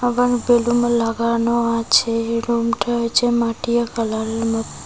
এবং বেলুনও লাগানো আছে রুমটা হচ্ছে মাটিয়া কালারের মত--